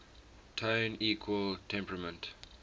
tone equal temperament